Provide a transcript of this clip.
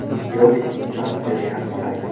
Yovichning transferi yaxshi xarid.